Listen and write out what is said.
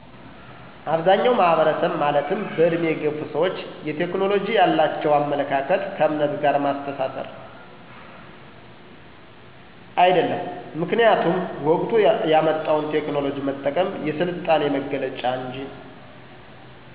አብዛኛዉ ማህበረሰብ ማለትም በዕድሜ የገፉ ሰዎች የቴክኖሎጂ ያላቸዉ አመለካከት ከዕምነት ጋር ማስተሳሰር። አይደለም ምክኒያቱም ወቅቱ ያመጣዉን ቴክኖሎጂ መጠቀም የስልጣኔ መገለጫ እንጂ